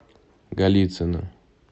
голицыно